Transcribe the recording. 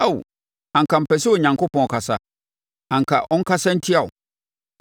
Ao, anka mepɛ sɛ Onyankopɔn kasa, anka ɔnkasa ntia wo